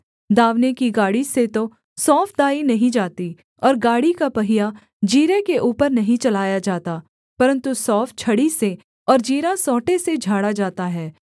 दाँवने की गाड़ी से तो सौंफ दाई नहीं जाती और गाड़ी का पहिया जीरे के ऊपर नहीं चलाया जाता परन्तु सौंफ छड़ी से और जीरा सोंटे से झाड़ा जाता है